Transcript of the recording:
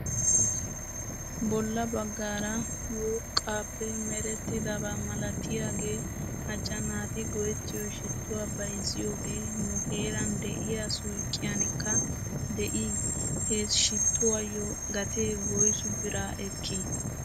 Bolla bagaara woqqaappe merettidaba malatiyaagee macca naati go'ettiyoo shittuwaa bayzziyoogee nu heeran de'iyaa suyqqiyankka de'ii? He shittuwaayyo gatee woysu bira ekkii?